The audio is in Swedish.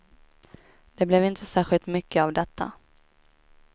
Det blev inte särskilt mycket av detta.